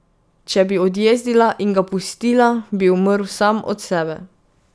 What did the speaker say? Če bi odjezdila in ga pustila, bi umrl sam od sebe.